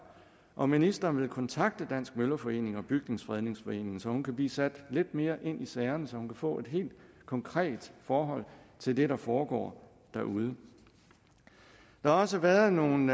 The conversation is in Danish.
om ministeren vil kontakte dansk møllerforening og bygningsfredningsforeningen så hun kan blive sat lidt mere ind i sagerne så hun kan få et helt konkret forhold til det der foregår derude der har også været nogle